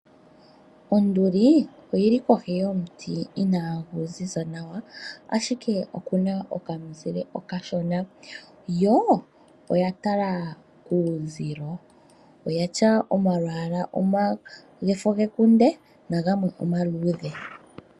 Onduli oyi li kohi yomuti inagu ziza nawa, ashike oku na okamuzile okashona yo oya tala kuuzilo. Oyi na omalwaala gefo lyekunde nogamwe omaluudhe.